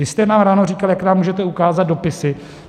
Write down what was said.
Vy jste nám ráno říkal, jak nám můžete ukázat dopisy.